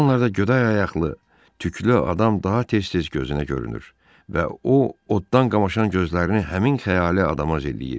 Bu anlarda güdə ayaqlı, tüklü adam daha tez-tez gözünə görünür və o oddan qamaşan gözlərini həmin xəyali adama zilləyirdi.